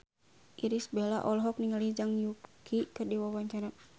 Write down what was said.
Irish Bella olohok ningali Zhang Yuqi keur diwawancara